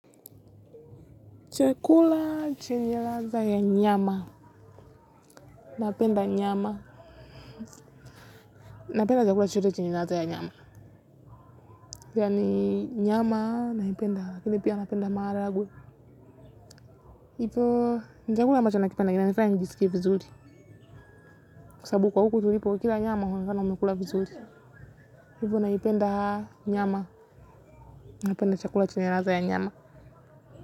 Chakula chenye ladha ya nyama, napenda nyama. Napenda chakula chochote chenye ladha ya nyama. Kwani nyama naipenda haa, lakini pia napenda maharagwe. Ivo, ni chakula ambacho nakipenda ya nyama. Sababu huku tulipo ukila nyama wemmunaonekana umekula vizuri ibu naipenda nyama naipenda chakula chenye ladha ya nyama.